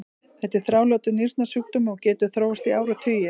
þetta er þrálátur nýrnasjúkdómur og getur þróast í áratugi